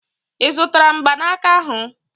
I zutara mgbanaka ahu?